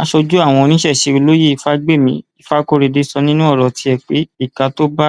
aṣojú àwọn oníṣẹṣẹ olóye fàgbémí ìfakọrẹdẹ sọ nínú ọrọ tiẹ pé ìka tó bá